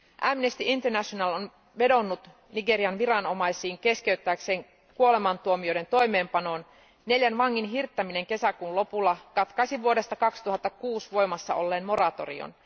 Amnesty International on vedonnut Nigerian viranomaisiin keskeyttääkseen kuolemantuomioiden toimeenpanon. Neljän vangin hirttäminen kesäkuun lopulla katkaisi vuodesta 2006 voimassa olleen moratorion.